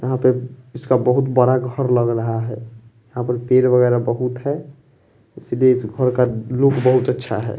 यहां पे उसका बहुत बड़ा घर लग रहा है यहां पर पेड़ वगैरह बहुत हैं इसलिए इस घर का लुक बहुत अच्छा है।